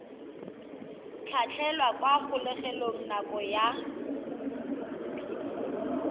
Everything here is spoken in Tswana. tlhatlhelwa kwa kgolegelong nako ya